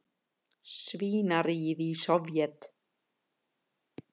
svínaríið í Sovét.